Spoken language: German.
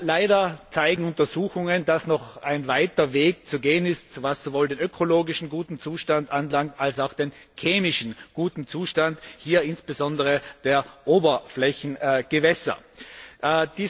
Leider zeigen Untersuchungen, dass noch ein weiter Weg zu gehen ist, was sowohl den ökologischen guten Zustand als auch den chemischen guten Zustand, hier insbesondere der Oberflächengewässer, anbelangt.